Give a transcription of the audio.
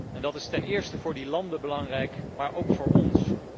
En dat is ten eerste voor die landen belangrijk, maar ook voor ons.